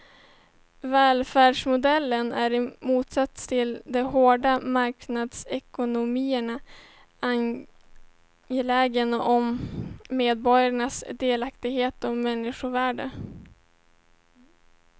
Välfärdsmodellen är i motsats till de hårda marknadsekonomierna angelägen om medborgarnas delaktighet och människovärde.